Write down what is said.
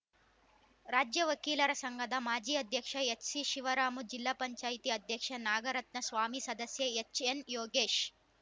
ರಾಜ್ಯ ವಕೀಲರ ಸಂಘದ ಮಾಜಿ ಅಧ್ಯಕ್ಷ ಎಚ್ಸಿಶಿವರಾಮು ಜಿಲ್ಲಾ ಪಂಚಾಯಿತಿ ಅಧ್ಯಕ್ಷೆ ನಾಗರತ್ನ ಸ್ವಾಮಿ ಸದಸ್ಯ ಹೆಚ್ಎನ್ಯೋಗೇಶ್